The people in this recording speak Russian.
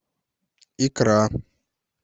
икра